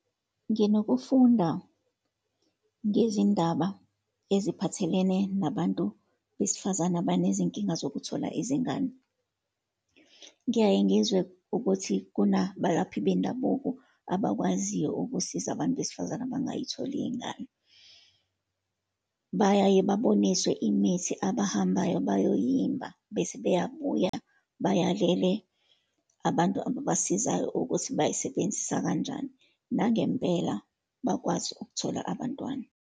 Nginokufunda ngezindaba eziphathelene nabantu besifazane abanezinkinga zokuthola izingane. Ngiyaye ngizwe ukuthi kunabalaphi bendabuko abakwaziyo ukusiza abantu besifazane abangayitholi iy'ngane. Bayaye baboniswe imithi abahambayo bayoyimba, bese bayabuya, bayalele abantu ababasizayo ukuthi bayisebenzisa kanjani. Nangempela bakwazi ukuthola abantwana.